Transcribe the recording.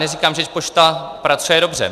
Neříkám, že pošta pracuje dobře.